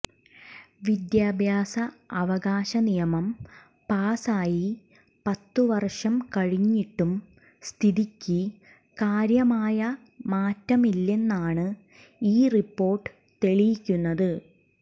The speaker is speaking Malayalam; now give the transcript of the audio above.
വിദ്യാഭ്യാസ അവകാശ നിയമം പാസായി പത്ത് വര്ഷം കഴിഞ്ഞിട്ടും സ്ഥിതിക്ക് കാര്യമായ മാറ്റമില്ലെന്നാണ് ഈ റിപ്പോര്ട്ട് തെളിയിക്കുന്നത്